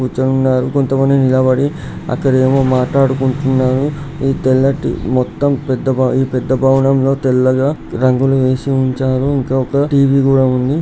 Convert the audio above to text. కూర్చుని ఉన్నారు. కొంతమంది నిలబడి అక్కడేమో మాట్లాడుకుంటున్నారు. ఈ తెల్లటి మొత్తం పెద్ద బా ఈ పెద్ద భవనంలో తెల్లగా రంగులు వేసి ఉంచారు. ఇంకొక టీ_వీ కూడా ఉంది.